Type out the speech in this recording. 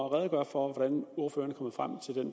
at redegøre for hvordan ordføreren